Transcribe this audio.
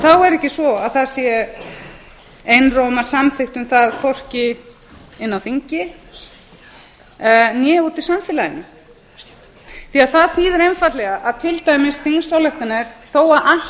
er ekki svo að það sé einróma samþykkt um það hvorki inni á þingi né úti í samfélaginu því að það þýðir einfaldlega að til dæmis þingsályktanir þó að